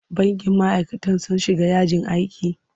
Bankin ma'aikatan sun shiga yajin aiki?